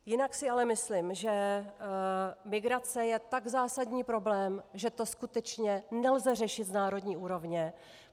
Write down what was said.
Jinak si ale myslím, že migrace je tak zásadní problém, že to skutečně nelze řešit z národní úrovně.